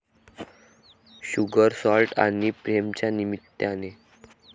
sugar, salt आणि प्रेम'च्या निमित्ताने